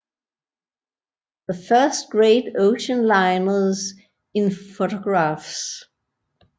The First Great Ocean Liners in Photographs